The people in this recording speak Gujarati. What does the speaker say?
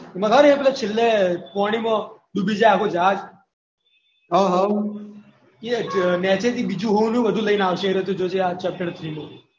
ખબર છે એમાં છેલ્લે પોણીમાં ડૂબી જાય આખું ઝાડ એમાં નીચેથી બધું હોનુ ને બધું લઈને આવશે તું જોજે ચેપ્ટર માં